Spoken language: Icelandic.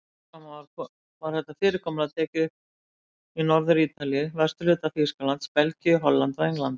Smám saman var þetta fyrirkomulag tekið upp í Norður-Ítalíu, vesturhluta Þýskalands, Belgíu, Hollandi og Englandi.